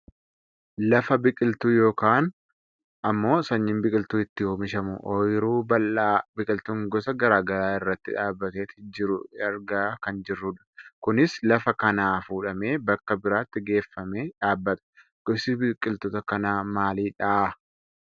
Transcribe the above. Lafa biqiltuun yookaan ammoo sanyiin biqiltuu itti oomishamu ooyiruu bal'aa biqiltuun gosa gara garaa irratti dhaabbateet jiru argaa kan jirrudha. Kunis lafa kanaa fuudhamee bakka biraatti geeffamee dhaabbata. Gosti biqiltoota kanaa maalidha?